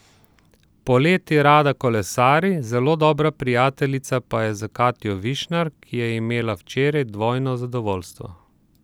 Poleti rada kolesari, zelo dobra prijateljica pa je s Katjo Višnar, ki je imela včeraj dvojno zadovoljstvo.